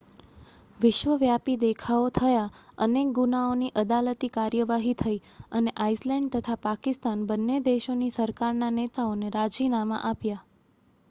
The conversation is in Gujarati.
વિશ્વવ્યાપી દેખાવો થયા અનેક ગુનાઓની અદાલતી કાર્યવાહી થઈ અને આઇસલૅન્ડ તથા પાકિસ્તાન બન્ને દેશોની સરકારના નેતાઓએ રાજીનામાં આપ્યાં